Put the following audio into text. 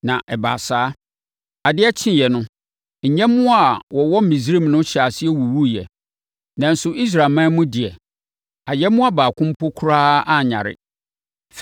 Na ɛbaa saa. Adeɛ kyeeɛ no, nyɛmmoa a wɔwɔ Misraim no hyɛɛ aseɛ wuwuiɛ, nanso Israelman mu deɛ, ayɛmmoa baako mpo koraa anyare.